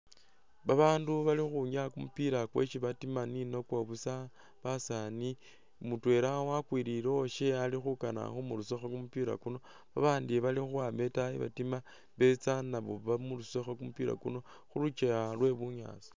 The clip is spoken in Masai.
Babandu bali khukhunyaya kumupila kwesi batima ninakwo busa basaani, mutwela wakwilile uwashe ali khukana khumurusakho kumupila khuno, babandi bali khukhwama etaayi batima betsa nabo bamurusekho kumupila kuno khu lukyewa lwe bunyaasi